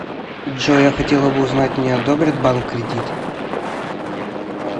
джой я хотела бы узнать мне одобрит банк кредит